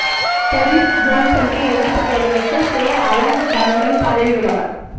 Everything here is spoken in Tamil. பொரிஸ் ஜோன்சனுக்கு எதிர்ப்புத் தெரிவித்து சேர் அலன் டங்கன் பதவி விலகல்